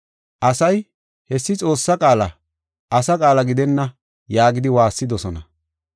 Asay, “Hessi Xoossaa qaala, asa qaala gidenna” yaagidi waassidosona.